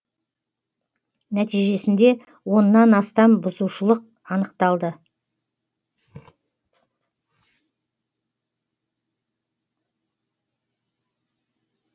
нәтижесінде оннан астам бұзушылық анықталды